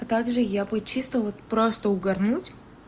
а так же я бы чисто вот просто угарнуть